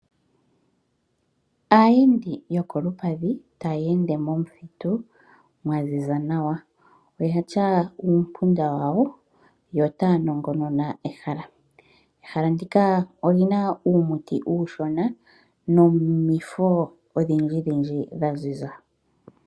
Aayendi yokolupadhi taya ende momuthitu mwa ziza nawa. Oya tya uumpunda wawo yo otaya anongonona ehala. Ehala ndika oli na uumuti uushona nomifo odhindjidhindji dha ziza.